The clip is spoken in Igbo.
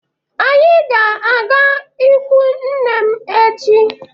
Anyị ga-aga ikwu nne m echi.